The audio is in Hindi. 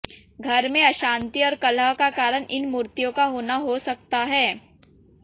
घर में अशांति और कलह का कारण इन मूर्तियों का होना हो सकता है